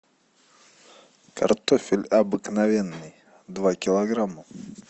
картофель обыкновенный два килограмма